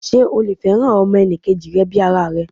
Sé o lè fẹ́ràn ọmọ enì kejì rẹ bi ara rẹ?